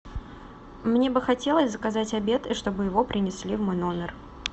мне бы хотелось заказать обед и чтобы его принесли в мой номер